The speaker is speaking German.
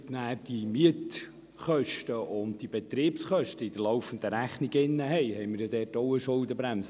Wenn die Mietkosten und die Betriebskosten in der laufenden Rechnung enthalten sind, greift dort auch eine Schuldenbremse.